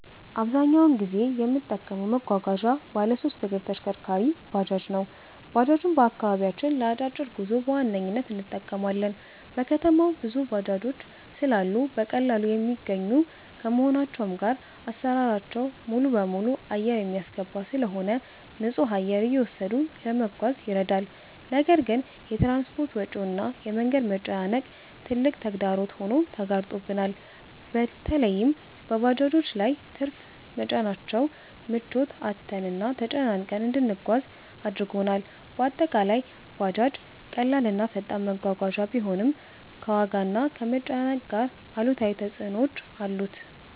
አብዛኛውን ጊዜ የምጠቀመው መጓጓዣ ባለሶስት እግር ተሽከርካሪ(ባጃጅ) ነው። ባጃጅን በአከባቢያችን ለ አጫጭር ጉዞ በዋነኝነት እንጠቀማለን። በከተማው ብዙ ባጃጆች ስላሉ በቀላሉ የሚገኙ ከመሆናቸውም ጋር አሰራራቸው ሙሉበሙሉ አየር የሚያስገባ ስለሆነ ንፁህ አየር እየወሰዱ ለመጓዝ ይረዳል። ነገር ግን የ ትራንስፖርት ወጪው እና የ መንገድ መጨናነቅ ትልቅ ተግዳሮት ሆኖ ተጋርጦብናል። በለይም በባጃጆች ላይ ትርፍ መጫናቸው ምቾት አጥተንና ተጨናንቀን እንድንጓጓዝ አድርጎናል። በአጠቃላይ ባጃጅ ቀላል እና ፈጣን መጓጓዣ ቢሆንም፣ ከዋጋና ከመጨናነቅ ጋር አሉታዊ ተፅዕኖዎች አሉት።